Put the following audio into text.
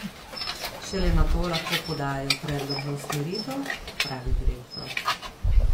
Šele nato lahko podajo predlog za usmeritev, pravi direktor.